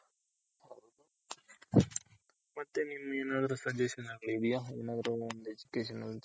ಮತ್ತೆ ನಿಮ್ದೆನಾದ್ರು suggestion ಏನಾದ್ರು ಇದ್ಯ ಒಂದ್ Education change ಬಗ್ಗೆ.